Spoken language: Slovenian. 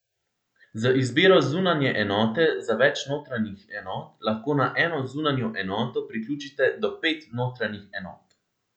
Z izbiro zunanje enote za več notranjih enot, lahko na eno zunanjo enoto priključite do pet notranjih enot.